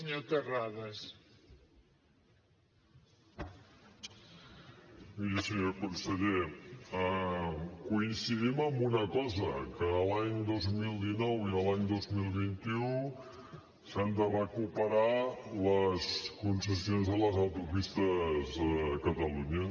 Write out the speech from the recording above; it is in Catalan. miri senyor conseller coincidim en una cosa que l’any dos mil dinou i l’any dos mil vint u s’han de recuperar les concessions de les autopistes a catalunya